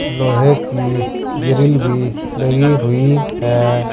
लोहे की ग्रिल भी लगी हुई है।